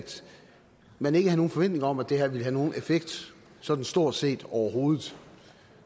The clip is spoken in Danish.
man ikke havde nogen forventning om at det her ville have nogen effekt sådan stort set overhovedet